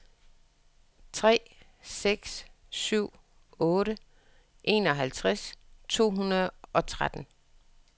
tre seks syv otte enoghalvtreds to hundrede og tretten